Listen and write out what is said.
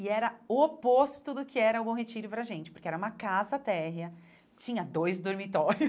E era o oposto do que era o Bom Retiro para a gente, porque era uma casa térrea, tinha dois dormitórios.